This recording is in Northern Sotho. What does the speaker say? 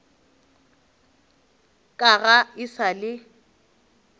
ka ga e sa le